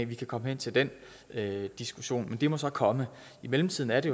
vi kan komme hen til den diskussion men det må så komme i mellemtiden er det